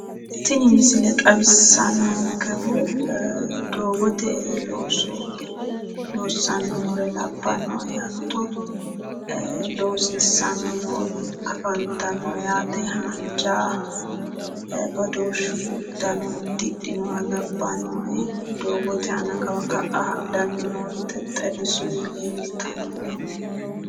Tini misile xawissannonkehu doogote looso loonssanni noore labbannoe. Hatto loosiissanni noori afantanno yaate. Haanja badooshshu uddano uddidhinoha labbannoe. Doogote aana kawa ka'a hadhanni noori xexxerrisuyiri leeltanni nooe.